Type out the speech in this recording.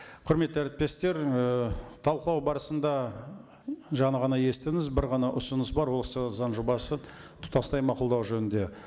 құрметті әріптестер ы талқылау барысында жаңа ғана естідіңіз бір ғана ұсыныс бар осы заң жобасын тұтастай мақұлдау жөнінде